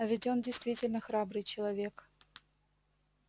а ведь он действительно храбрый человек